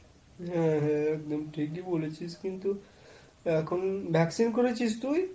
হ্যাঁ হ্যাঁ এখন ঠিকই বলেছিস। কিন্তু এখন, vaccine করেছিস তুই?